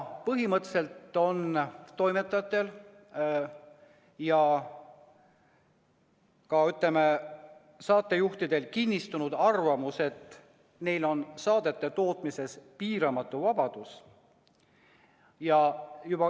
Põhimõtteliselt on toimetajatel ja ka saatejuhtidel kinnistunud arvamus, et neil on saadete tegemisel piiramatu vabadus.